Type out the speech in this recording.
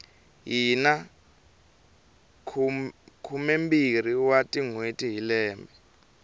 hina khumembirhi wa tinhweti hi lembe